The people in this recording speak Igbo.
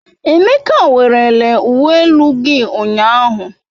Emeka werele uwe elu gi ụnyahụ.